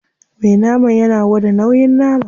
Me naman yana gwada nauyin nama.